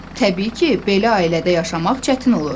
Təbii ki, belə ailədə yaşamaq çətin olur.